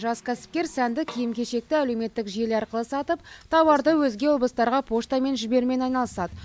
жас кәсіпкер сәнді киім кешекті әлеуметтік желі арқылы сатып тауарды өзге облыстарға поштамен жіберумен айналысады